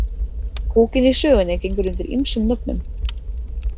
Púkinn í sögunni gengur undir ýmsum nöfnum.